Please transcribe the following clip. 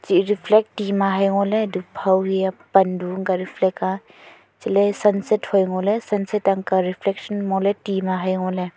chih reflect ti ma hai ngole phau riya pan du ang ka reflect ka chele sunset hui ngo le sunset anka reflection ngole ti ma hai ngole.